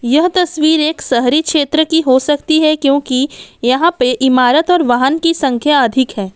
यह तस्वीर एक शहरी क्षेत्र की हो सकती है क्योंकि यहां पर इमारत और वाहन की संख्या अधिक है।